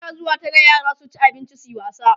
ana zuwa Tara yara su ci abinci suyi wasa